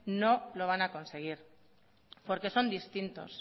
no lo van a conseguir porque son distintos